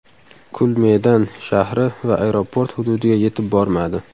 Kul Medan shahri va aeroport hududiga yetib bormadi.